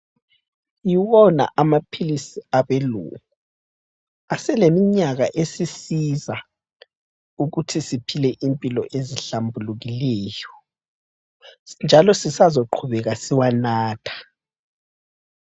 Yiwona amaphilisi abelungu. Aseleminyaka esisiza ukuthi siphile imoilo ezihlambulukileyo njalo sisazoqhubeka siwanatha.